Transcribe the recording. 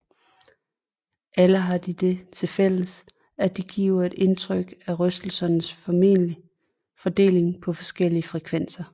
Alle har de det til fælles at de giver et indtryk af rystelsernes fordeling på forskellige frekvenser